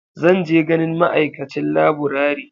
Zan je ganin ma'aikacin laburare.